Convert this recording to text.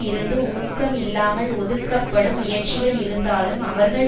இருந்து ஊக்கம் இல்லாமல் ஒதுக்கப்படும் முயற்சிகள் இருந்தாலும் அவர்கள்